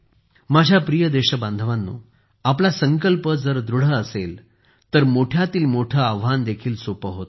माझ्या प्रिय देशबांधवांनो आपला संकल्प जर दृढ असेल तर मोठ्यातील मोठे आव्हान देखील सोपे होते